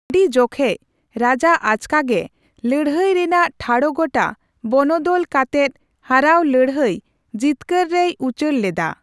ᱟᱹᱰᱤ ᱡᱚᱠᱷᱮᱡ, ᱨᱟᱡᱟ ᱟᱪᱠᱟᱜᱮ ᱞᱟᱹᱲᱦᱟᱹᱭ ᱨᱮᱱᱟᱜ ᱴᱷᱟᱲᱚᱜᱚᱴᱟ ᱵᱚᱱᱚᱫᱚᱞ ᱠᱟᱛᱮᱫ ᱦᱟᱨᱟᱣ ᱞᱟᱹᱲᱦᱟᱹᱭ ᱡᱤᱛᱠᱟᱹᱨ ᱨᱮᱭ ᱩᱪᱟᱹᱲ ᱞᱮᱫᱟ ᱾